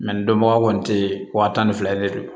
dɔnbaga kɔni te yen wa tan ni fila le do